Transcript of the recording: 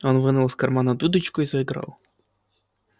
он вынул из кармана дудочку и заиграл